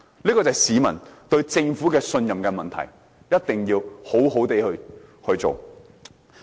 這便是市民對政府的信任問題，一定要好好地處理。